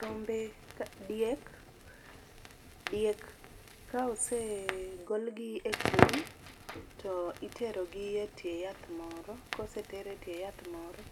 Rombe diek diek ka osegolgi e kul, to iterogi etie yath moro. Koseter etie yath moro